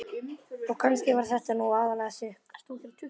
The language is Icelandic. Og kannski var þetta nú aðallega sukk.